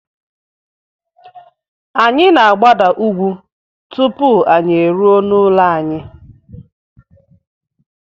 Anyị na-agbada ugwú tupu anyị eruo n'ụlọ anyị.